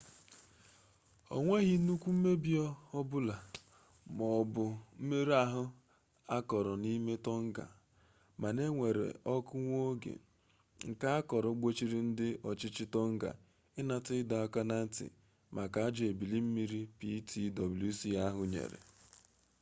o nweghị nnukwu mmebi ma ọ bụ mmerụ ahụ akọrọna n'ime tonga mana e were ọkụ nwa oge nke a kọrọ gbochiri ndị ọchịchị tongan ịnata ịdọ aka na ntị maka ajọ ebili mmiri ptwc ahụ nyere